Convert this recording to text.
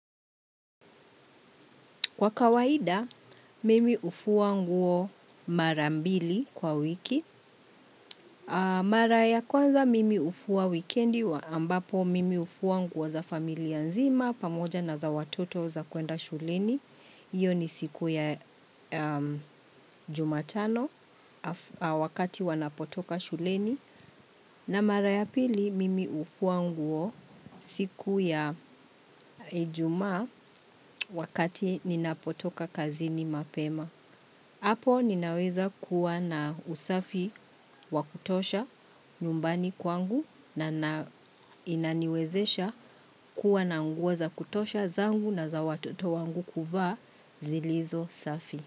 Kwa kawaida, mimi hufua nguo mara mbili kwa wiki. Mara ya kwanza, mimi hufua wikendi, ambapo mimi hufua nguo za familia nzima, pamoja na za watoto za kuenda shuleni. Iyo ni siku ya jumatano, wakati wanapotoka shuleni. Na mara ya pili, mimi hufua nguo siku ya ijumaa, wakati ninapotoka kazini mapema. Hapo ninaweza kuwa na usafi wa kutosha nyumbani kwangu na, inaniwezesha kuwa na nguo za kutosha zangu na za watoto wangu kuvaa zilizo safi.